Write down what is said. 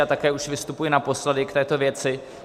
Já také už vystupuji naposledy k této věci.